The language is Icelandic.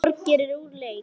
Þorgeir er úr leik.